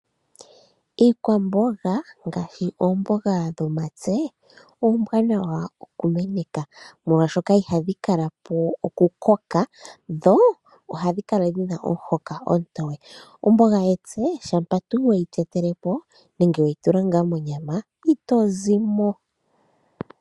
Iikwamboga ngaashi oomboga, oombwanawa okumeneka, molwashoka ihadhi kala po okukoka, dho ohadhi kala dhi na omuhoka omutoye. Omboga shampa we yi tetele po, nenge we yi tula ngaa monyama ito zi mo.